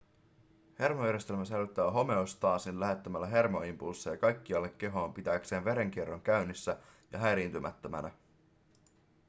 hermojärjestelmä säilyttää homeostaasin lähettämällä hermoimpulsseja kaikkialle kehoon pitääkseen verenkierron käynnissä ja häiriintymättömänä